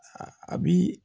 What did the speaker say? a bi